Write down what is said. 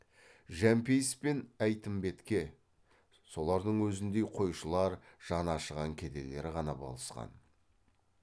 жәмпейіс пен әйтімбетке солардың өзіндей қойшылар жаны ашыған кедейлер ғана болысқан